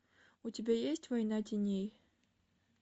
у тебя есть война теней